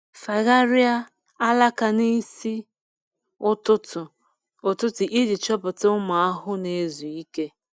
Fagharịa alaka n’isi ụtụtụ ụtụtụ iji chọpụta ụmụ ahụhụ na-ezu ike.